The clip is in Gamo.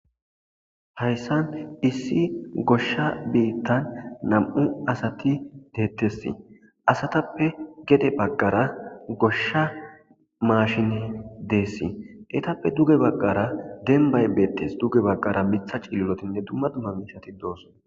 Hayssan issi goshsha biittan nam'u asati deettessi asatappe gede baggara goshsha maashine deessi etappe duge baggara denbbay beettes duge baggara mththa cililotinne dumma dumma miishshati doos.